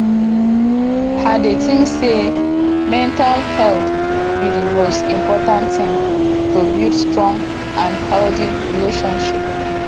i dey think say mental health be di most important thing to build strong and healthy relationships